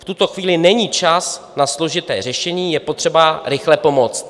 V tuto chvíli není čas na složité řešení, je potřeba rychle pomoct."